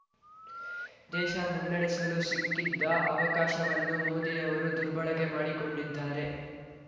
ದೇಶ ಮುನ್ನಡೆಸಲು ಸಿಕ್ಕಿದ್ದ ಅವಕಾಶವನ್ನು ಮೋದಿ ಅವರು ದುರ್ಬಳಕೆ ಮಾಡಿಕೊಂಡಿದ್ದಾರೆ